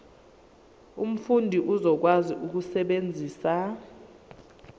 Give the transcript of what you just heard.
umfundi uzokwazi ukusebenzisa